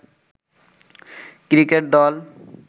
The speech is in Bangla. ক্রিকেট দল।